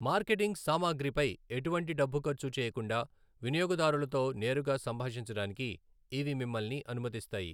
Marketing సామాగ్రిపై ఎటువంటి డబ్బు ఖర్చు చేయకుండా వినియోగదారులతో నేరుగా సంభాషించడానికి ఇవి మిమ్మల్ని అనుమతిస్తాయి.